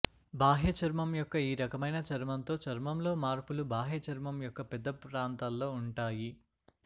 బాహ్య చర్మం యొక్క ఈ రకమైన చర్మంతో చర్మంలో మార్పులు బాహ్య చర్మం యొక్క పెద్ద ప్రాంతాల్లో ఉంటాయి